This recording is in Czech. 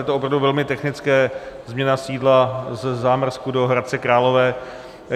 Je to opravdu velmi technické, změna sídla ze Zámrsku do Hradce Králové.